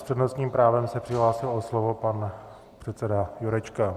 S přednostním právem se přihlásil o slovo pan předseda Jurečka.